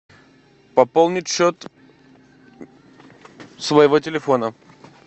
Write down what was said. пополнить счет своего телефона